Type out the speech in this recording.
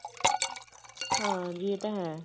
ਹਾਂਜੀ ਇਹ ਤਾਂ ਹੈ